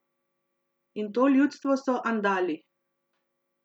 In to ljudstvo so Andali.